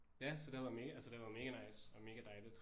Ja så det har været altså det har været mega nice og mega dejligt